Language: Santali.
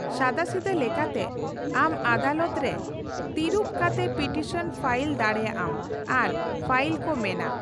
ᱥᱟᱫᱟᱥᱤᱫᱟᱹ ᱞᱮᱠᱟᱛᱮ ᱞᱮᱠᱟᱛᱮ, ᱟᱢ ᱟᱫᱟᱞᱚᱛ ᱨᱮ ᱛᱷᱤᱨᱩᱵ ᱠᱟᱛᱮ ᱯᱤᱴᱤᱥᱚᱱ ᱯᱷᱟᱭᱤᱞ ᱫᱟᱲᱮᱭᱟᱜᱼᱟᱢ ᱟᱨ ᱯᱷᱟᱭᱤᱞ ᱠᱚ ᱢᱮᱱᱟ᱾